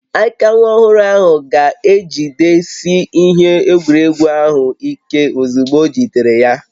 Aka nwa ọhụrụ ga-ejidesi ihe egwuregwu ahụ ike ozugbo ojidere ya